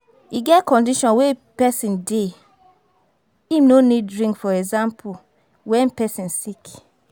E get condition wey person dey, im no need drink for example when person sick